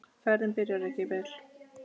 Ferðin byrjaði ekki vel.